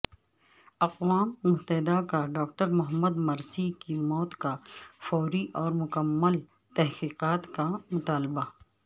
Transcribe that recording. اقوام متحدہ کا ڈاکٹر محمد مرسی کی موت کا فوری اور مکمل تحقیقات کا مطالبہ